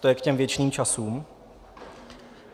To je k těm věčným časům.